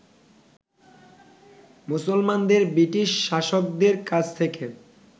মুসলমানদের ব্রিটিশ শাসকদের কাছ থেকে